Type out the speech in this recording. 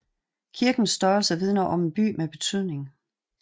Kirkens størrelse vidner om en by med betydning